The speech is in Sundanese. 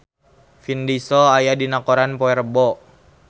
Vin Diesel aya dina koran poe Rebo